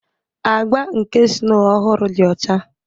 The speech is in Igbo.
Agba nke snow ọhụrụ dị ọcha